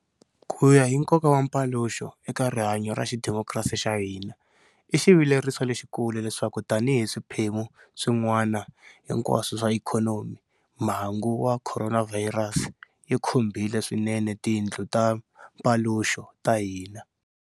Ku ya hi nkoka wa mpaluxo eka rihanyo ra xidimokirasi xa hina, i xivileriso lexikulu leswaku tanihi swiphemu swin'wana hinkwaswo swa ikhonomi, mhangu ya khoronavhayirasi yi khumbhile swinene tindlu ta mpaluxo ta hina.